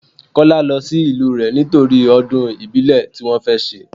Kọ́lá lọ sí ìlú rẹ nítorí ọdún ìbílẹ̀ tí wọn fẹ́ ṣe.